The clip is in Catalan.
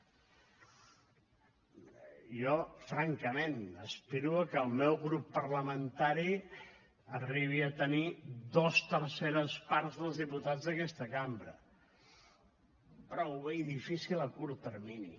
jo francament aspiro a que el meu grup parlamentari arribi a tenir dues terceres parts dels diputats d’aquesta cambra però ho veig difícil a curt termini